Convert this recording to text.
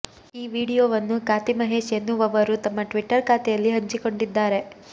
ಈ ವಿಡಿಯೋವನ್ನು ಕಾತಿ ಮಹೇಶ್ ಎನ್ನುವವರು ತಮ್ಮ ಟ್ವಿಟ್ಟರ್ ಖಾತೆಯಲ್ಲಿ ಹಂಚಿಕೊಂಡಿದ್ದಾರೆ